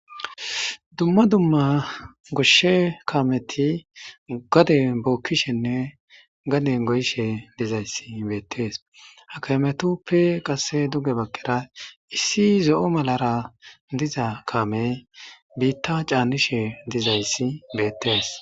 Dumma dumma goshshe kaameti gade bookkishenne gaden goyishe dizayssi beettees hakametoppe qase duge bakkera issi zo7o malara diza kaame biitta caannishe dizayssi beettees.